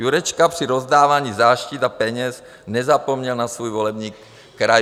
Jurečka při rozdávání záštit a peněz nezapomněl na svůj volební kraj.